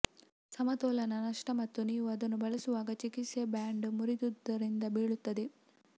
ಸಮತೋಲನ ನಷ್ಟ ಮತ್ತು ನೀವು ಅದನ್ನು ಬಳಸುವಾಗ ಚಿಕಿತ್ಸೆ ಬ್ಯಾಂಡ್ ಮುರಿದುದರಿಂದ ಬೀಳುತ್ತದೆ